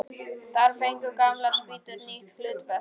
Þar fengu gamlar spýtur nýtt hlutverk.